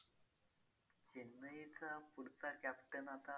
चेन्नईचा पुढचा captain आता